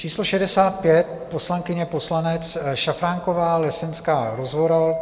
Číslo 65 - poslankyně, poslanec Šafránková, Lesenská, Rozvoral.